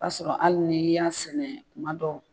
O y'a sɔrɔ hali ni y'a sɛnɛ kuma dɔw.